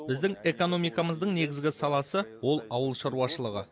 біздің экономикамыздың негізгі саласы ол ауыл шаруашылығы